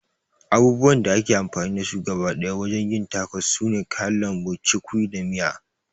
Abubuwan da ake amfani da su gaba ɗaya wajen yin tacos sune kayan lambu, cukwi da miya